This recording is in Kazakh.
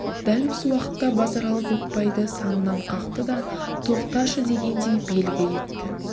дәл осы уақытта базаралы көкбайды санынан қақты да тоқташы дегендей белгі етті